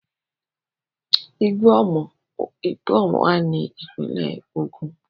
Igbó Omo wà ní ìpínlẹ̀ Ògùn.